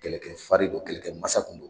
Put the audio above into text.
Kɛlɛkɛ farin do kɛlɛkɛ masa kun do.